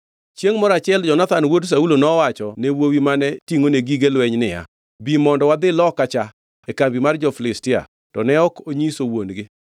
Chiengʼ moro achiel Jonathan wuod Saulo nowachone wuowi mane tingʼone gige lweny niya, “Bi mondo wadhi loka cha e kambi mar jo-Filistia.” To ne ok onyiso wuon-gi.